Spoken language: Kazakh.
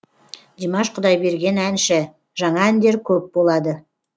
димаш құдайберген әнші жаңа әндер көп болады